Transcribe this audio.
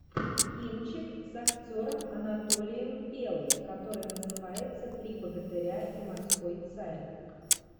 кинчик с актером анатолием белый который называется три богатыря и морской царь